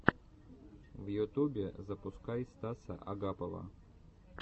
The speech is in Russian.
в ютубе запускай стаса агапова